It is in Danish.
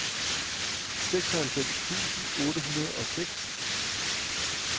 otteoghalvfems tusind otte hundrede og seks